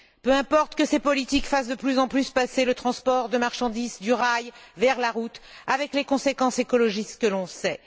Peu importe que ces politiques fassent de plus en plus passer le transport de marchandises du rail vers la route avec les conséquences écologiques que l'on sait.